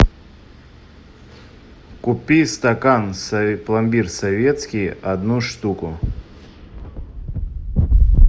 купи стакан пломбир советский одну штуку